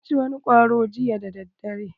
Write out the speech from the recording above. Na ci wani kwaro jiya dadadare.